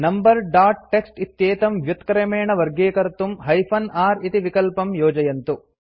number dot TXT इत्येतं व्युत्क्रमेण वर्गीकर्तुम् हाइफेन r इति विकल्पं योजयन्तु